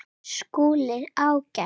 SKÚLI: Ágætt!